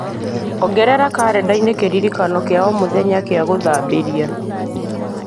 ongerera karenda-inĩ kĩririkano kĩa o mũthenya kĩa gũthambĩria